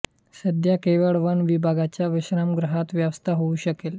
सध्या केवळ वन विभागाच्या विश्रामगृहात व्यवस्था होउ शकेल